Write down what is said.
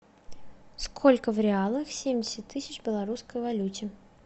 сколько в реалах семьдесят тысяч в белорусской валюте